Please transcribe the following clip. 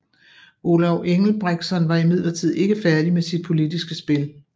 Olav Engelbrektsson var imidlertid ikke færdig med sit politiske spil